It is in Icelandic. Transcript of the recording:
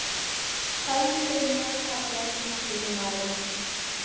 Dagný Brynjars Fallegasti knattspyrnumaðurinn?